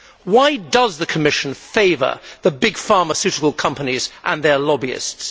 Why does the Commission favour the big pharmaceutical companies and their lobbyists?